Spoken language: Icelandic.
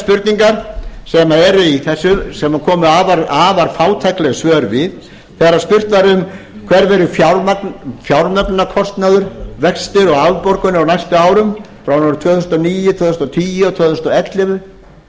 spurningar sem eru í þessu sem komu afar fátækleg svör við þegar spurt var um hver verður fjármögnunarkostnaður vextir og afborganir á næstu árum árunum tvö þúsund og níu tvö þúsund og tíu og tvö þúsund og ellefu